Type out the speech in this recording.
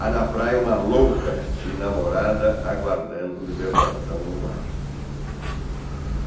Há na praia uma louca e namorada, aguardando libertação no mar.